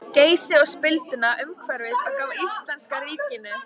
Geysi og spilduna umhverfis og gaf íslenska ríkinu.